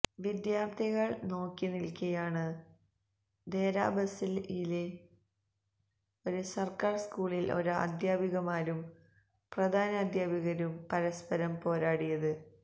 വിദ്യാര്ത്ഥികള് നോക്കിനില്ക്കെയാണ് ദേരാ ബസിയിലെ ഒരു സര്ക്കാര് സ്കൂളില് ഒരു അധ്യാപികമാരും പ്രധാനാധ്യാപികയും പരസ്പരം പോരടിച്ചത്